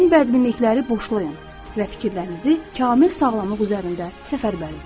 Bütün bədminlikləri boşlayın və fikirlərinizi kamil sağlamlıq üzərində səfərbər edin.